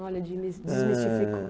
Olha, desmi, eh, desmistificou.